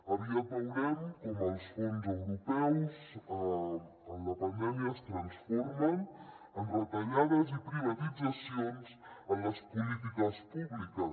aviat veurem com els fons europeus en la pandèmia es transformen en retallades i privatitzacions en les polítiques públiques